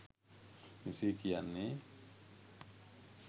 මෙසේ කියන්නේ.